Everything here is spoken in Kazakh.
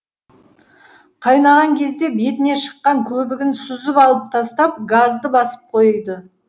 қайнаған кезде бетіне шыққан көбігін сүзіп алып тастап газды басып қойды